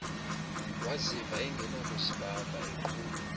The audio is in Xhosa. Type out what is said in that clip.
waziva engenakuzibamba eqhula